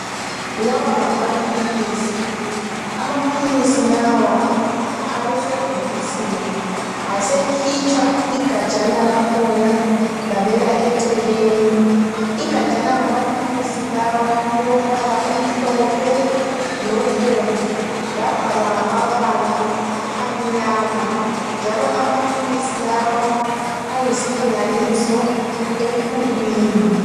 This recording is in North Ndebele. Lawa ngamaphilisi, amaphilisi lawa abesebhokisini asekhitshwa igajana lakhona labekwa eceleni. Igajana lamaphilisi lawa lilombala omhlophe lobomvu labhalwa ngamabala amnyama njalo amaphilisi lawa ayisilinganiso ekhulwini.